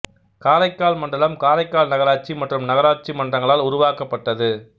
காரைக்கால் மண்டலம் காரைக்கால் நகராட்சி மற்றும் நகராட்சி மன்றங்களால் உருவாக்கப்பட்டது